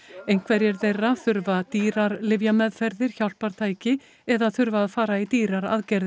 einhverjir þeirra þurfa dýrar lyfjameðferðir hjálpartæki eða þurfa að fara í dýrar aðgerðir